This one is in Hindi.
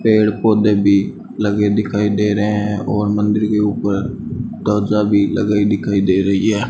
पेड़ पौधे भी लगे दिखाई दे रहे हैं और मंदिर के ऊपर ध्वजा भी लगाई दिखाई दे रही है।